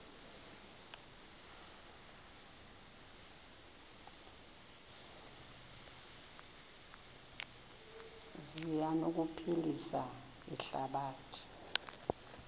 zi anokuphilisa ihlabathi